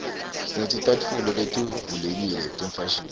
sineticatfulo letivulekile tefashini